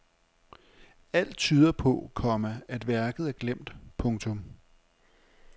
Alt tyder på, komma at værket er glemt. punktum